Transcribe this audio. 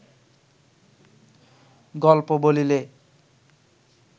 গল্প বলিলে